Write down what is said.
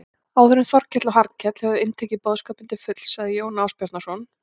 Áður en Þórkell og Hallkell höfðu inntekið boðskapinn til fulls sagði Jón Ásbjarnarson